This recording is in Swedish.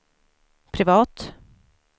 privat